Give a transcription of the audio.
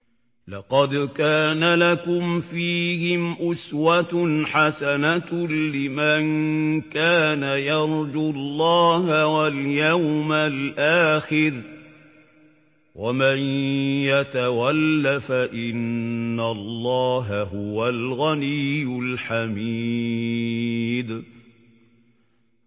لَقَدْ كَانَ لَكُمْ فِيهِمْ أُسْوَةٌ حَسَنَةٌ لِّمَن كَانَ يَرْجُو اللَّهَ وَالْيَوْمَ الْآخِرَ ۚ وَمَن يَتَوَلَّ فَإِنَّ اللَّهَ هُوَ الْغَنِيُّ الْحَمِيدُ